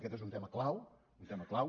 aquest és un tema clau un tema clau